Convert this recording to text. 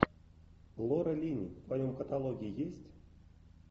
лора линни в твоем каталоге есть